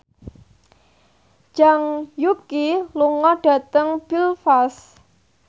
Zhang Yuqi lunga dhateng Belfast